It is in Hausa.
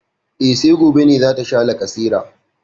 E, sai gobe ne za ta sha lacaseran.